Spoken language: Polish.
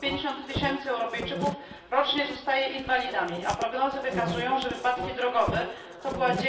150 tysięcy Europejczyków rocznie zostaje inwalidami, a prognozy wskazują na to, że wypadki drogowe były